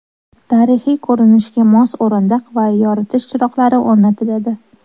Tarixiy ko‘rinishga mos o‘rindiq va yoritish chiroqlari o‘rnatiladi.